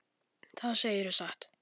Það segirðu satt.